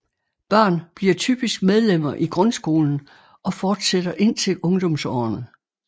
Børn bliver typisk medlemmer i grundskolen og fortsætter indtil ungdomsårene